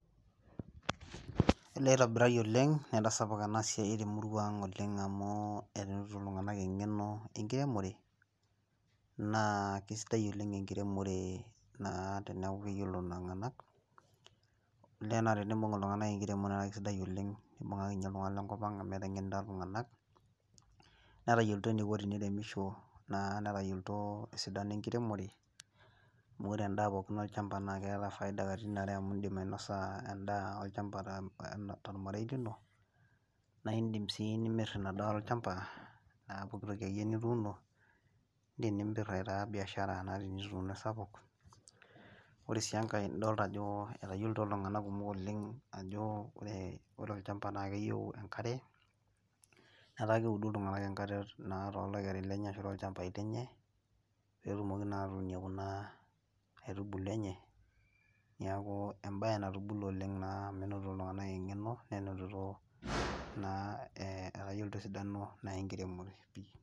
olee itobirari oleng etasapuka enasiai temuraa ang' amu enotito iltunganak eng'eno enkiremore, naa kisidai oleng enkiremore teneeku keyiolo iltunganak, amu etengenita iltunganak netayiolito eniko teniremisho , netayiolito esidano enkiremore, naa keta faida katitin are amu idim ainosa tolmarei lino nidim sii atimira, aa pooki toki akeyie nituuno idim aitaa biashara sapuk ore sii enkae etayiolito iltunganak kumok ajo ore olchamba naa keyieu enkare naa etaa keudu iltunganak too ichambai lenye, pee etumoki atuunie kuna aitubulu enye.